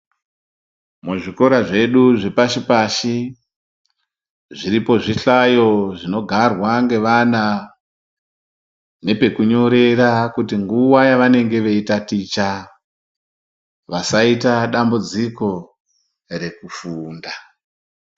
Muzvikora zvedu zvepashi pashi zviripo zvihlayo zvinogarwa ngevana nepekunyorera kuti nguwa yavanenge veitaticha vasaita dambudziko rekufunda.